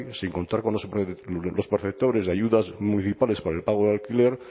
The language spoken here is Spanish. sin contar con los perceptores de ayudas municipales para el pago del alquiler